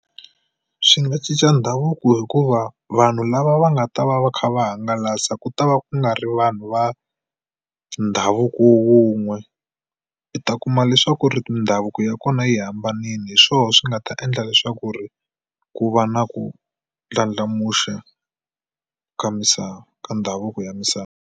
Swi nga cinca ndhavuko hikuva vanhu lava va nga ta va va kha va hangalasa ku ta va ku nga ri vanhu va ndhavuko wun'we. I ta ku kuma leswaku ri mindhavuko ya kona yi hambanile hi swona swi nga ta endla leswaku ri ku va na ku ndlandlamuxa ka misava ka ndhavuko ya misava.